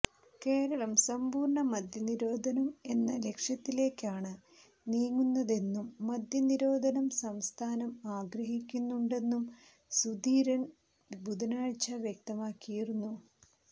കേരളം സമ്പൂര്ണ്ണ മദ്യനിരോധനം എന്ന ലക്ഷ്യത്തിലേക്കാണ് നീങ്ങുന്നതെന്നും മദ്യനിരോധനം സംസ്ഥാനം ആഗ്രഹിക്കുന്നുണ്ടെന്നും സുധീരന് ബുധനാഴ്ച വ്യക്തമാക്കിയിരുന്നു